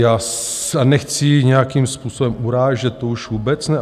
Já nechci nějakým způsobem urážet, to už vůbec ne.